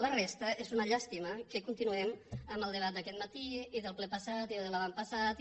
la resta és una llàstima que continuem el debat d’aquest mati i del ple passat i de l’anterior i